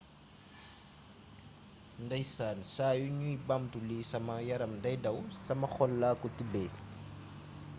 ndaysaan saa yu nuy baamtu lii sama yaram day daw sama xol laa ko tibbee